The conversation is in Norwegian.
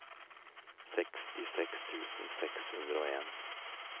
sekstiseks tusen seks hundre og en